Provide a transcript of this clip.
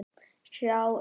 sjá hér!